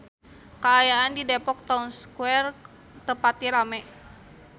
Kaayaan di Depok Town Square teu pati rame